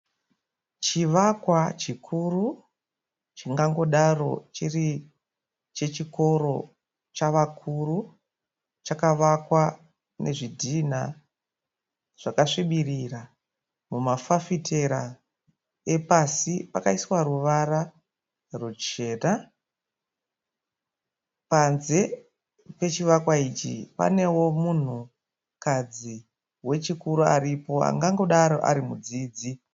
Chivakwa chikuru chingangodaro chiri chechikoro chavakuru. Chakavakwa nezvidhinha zvakasvibirira. Mumafafitera epasi pakaiswa ruvara ruchena. Panze pechivakwa ichi panewo munhukadzi wechikuru aripo angangodaro ari mudzidzi.